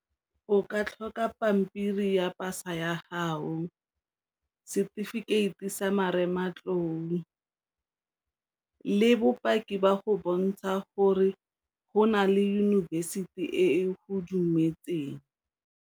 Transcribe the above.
O ka tlhoka pampiri ya pasa ya hao, setefikeiti sa marematlou le bopaki ba go bontsha gore go nale yunibesithi e go dumetseng.